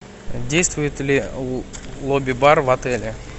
действует ли лобби бар в отеле